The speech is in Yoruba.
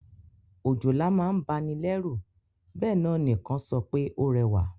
Òjòlá ma n ba ni lẹ́rù béè náà ni kan so pe ó rẹ́wà